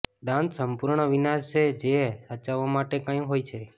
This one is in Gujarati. દાંત સંપૂર્ણ વિનાશ જે સાચવવા માટે કંઈ હોય છે